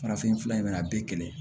Farafinf fura in bɛna a bɛɛ kelen